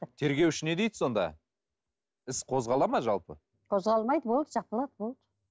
тергеуші не дейді сонда іс қозғалады ма жалпы қозғалмайды болды жабылады болды